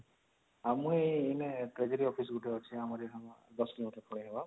ଆଉ ମୁଁ ଏଇନେ treasury office ଗୁଟେ ଅଛି ଆମର ୧୦ kilometre ପଳେଇବା